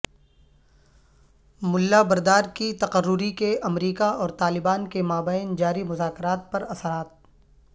ملا برادر کی تقرری کے امریکہ اور طالبان کے مابین جاری مذاکرات پر اثرات